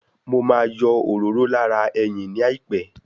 Mo ma yọ òróró lára ẹyìn ní àìpẹ́